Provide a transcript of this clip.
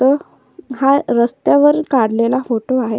Photo हा रस्त्यावर काडलेला फोटो आहे.